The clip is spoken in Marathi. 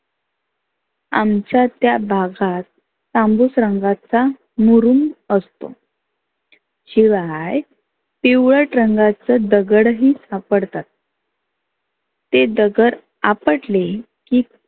आमच्या त्या भागात तांबुस रंगाचा मुरुंब असतो. शिवाय पिवळट रंगाच दगड ही सापडतात. ते दगड आपटले की